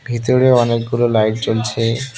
ভেতরে অনেকগুলো লাইট জ্বলছে।